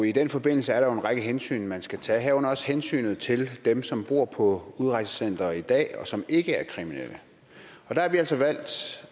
i den forbindelse er der jo en række hensyn man skal tage herunder også hensynet til dem som bor på udrejsecenter i dag og som ikke er kriminelle og der har vi altså valgt